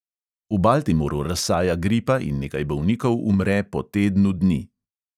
V baltimoru razsaja gripa in nekaj bolnikov umre po tednu dni.